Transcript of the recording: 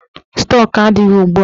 Stọk adịghị ugbua.